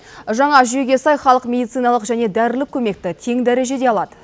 жаңа жүйеге сай халық медициналық және дәрілік көмекті тең дәрежеде алады